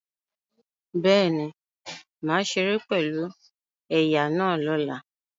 Bẹ́ẹ̀ni, màá ṣeré pẹ̀lú ẹ̀ya náà lọ́la